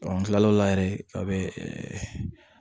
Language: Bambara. an kila o la yɛrɛ a bɛ